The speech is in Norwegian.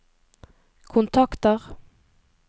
kontakter